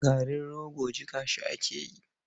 Garin rogo jiƙa shi ake yi.